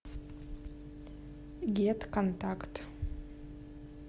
гет контакт